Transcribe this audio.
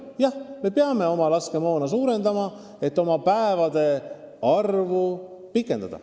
Jah, me peame oma laskemoonavaru suurendama, et päevade arvu pikendada.